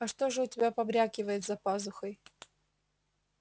а что же у тебя побрякивает за пазухой